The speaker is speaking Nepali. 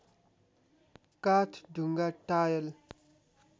काठ ढुङ्गा टायल